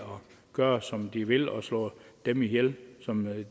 gøre som de vil og slå dem ihjel som